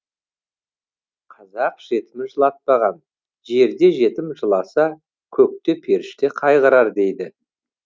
қазақ жетімін жылатпаған жерде жетім жыласа көкте періште қайғырар дейді